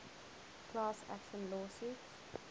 class action lawsuits